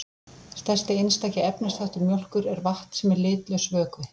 Stærsti einstaki efnisþáttur mjólkur er vatn sem er litlaus vökvi.